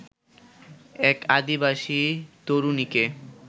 এক আদিবাসী তরুণীকে